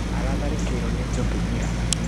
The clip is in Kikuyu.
Aratharĩkĩirwo nĩ njũkĩ ira